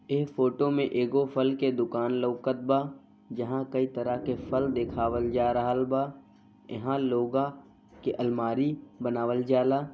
एह फोटो में एगो फल के दूकान लउकत बा जहाँ कई तरह के फल देखावल जा रहल बा एहा लोगा के अलमारी बनावल जा ला ।